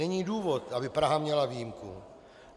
Není důvod, aby Praha měla výjimku.